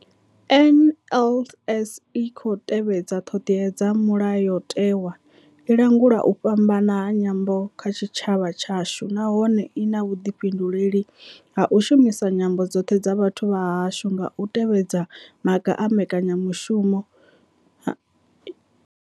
NLS I tshi khou tevhedza ṱhodea dza Mulayo tewa, i langula u fhambana ha nyambo kha tshitshavha tshashu nahone I na vhuḓifhinduleli ha u shumisa nyambo dzoṱhe dza vhathu vha hashu nga u tevhedza maga a mbekanya mushumo.